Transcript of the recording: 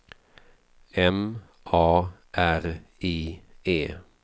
M A R I E